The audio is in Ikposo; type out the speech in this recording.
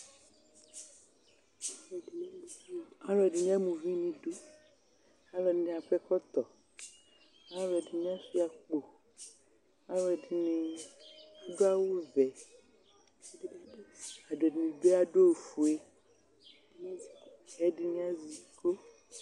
Akʋ edini ama ʋvi nʋ idʋ alʋ ɛfini akɔ ɛkɔtɔ alʋ ɛdini asuia akpo alʋ ɛdini adʋ awʋvɛ ɛdini bi adʋ ofue ɛdini azɛ iko